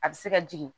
A bɛ se ka jigin